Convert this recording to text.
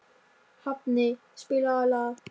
Hafni, spilaðu lag.